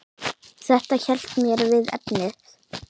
Þetta hélt mér við efnið.